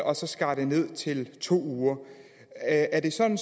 og skar det ned til to uger er det sådan